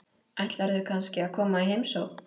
Ætlarðu kannski að koma í heimsókn?